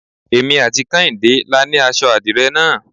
Èmi àti Kehinde la ni aṣọ adire náà.